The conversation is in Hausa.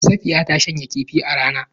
Safiya ta shanya kifin a rana